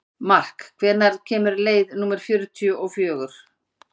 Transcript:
Mark, hvenær kemur leið númer fjörutíu og fjögur?